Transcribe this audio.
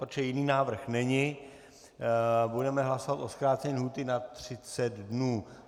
Protože jiný návrh není, budeme hlasovat o zkrácení lhůty na 30 dnů.